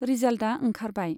रिजाल्टआ ओंखारबाय।